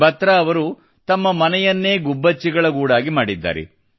ಬಾತ್ರಾಅವರುತಮ್ಮ ಮನೆಯನ್ನೇ ಗುಬ್ಬಚ್ಚಿಗಳ ಗೂಡಾಗಿ ಮಾಡಿದ್ದಾರೆ